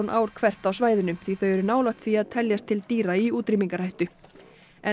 ár hvert á svæðinu því þau eru nálægt því að teljast til dýra í útrýmingarhættu en